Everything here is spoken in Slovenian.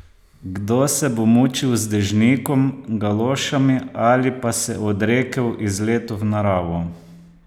Kdo se bo mučil z dežnikom, galošami ali pa se odrekel izletu v naravo?